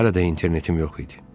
Hələ də internetim yox idi.